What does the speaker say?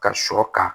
Ka sɔ kan